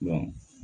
Dɔn